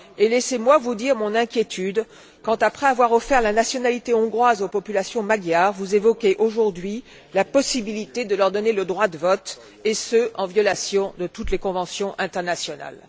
Laissez moi vous dire mon inquiétude quand, après avoir offert la nationalité hongroise aux populations magyares, vous évoquez aujourd'hui la possibilité de leur donner le droit de vote et ce, en violation de toutes les conventions internationales.